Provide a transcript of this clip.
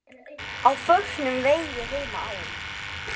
Á förnum vegi heima á